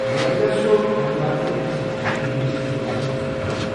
مےٚ پزیا سُہ امہ بدلہٕ اكِس موسیقی ہندِس سکولس منٛز درج کرُن؟